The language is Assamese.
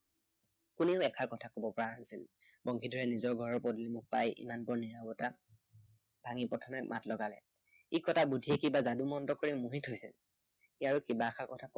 কোনেও এষাৰ কথা কব পৰা নাছিল। বংশীধৰে নিজৰ ঘৰৰ পদূলিমুখ পাই ইমানপৰৰ নিৰৱতা ভাঙি প্ৰথমে মাত লগালে। ই কটা বুদ্ধিয়ে কিবা যাদু মন্ত্ৰ কৰি মোহি থৈছে।